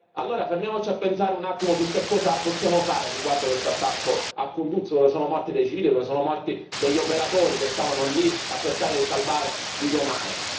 Allora fermiamoci a pensare un attimo a cosa possiamo fare riguardo a questo attacco a Kunduz, dove sono morti dei civili, dove sono morti degli operatori che stavano lì a cercare di salvare vite umane.